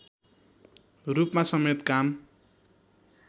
रूपमा समेत काम